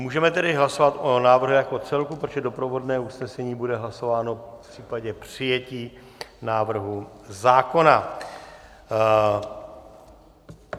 Můžeme tedy hlasovat o návrhu jako celku, protože doprovodné usnesení bude hlasováno v případě přijetí návrhu zákona.